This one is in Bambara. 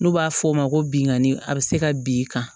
N'u b'a f'o ma ko binkanni a bɛ se ka bin kan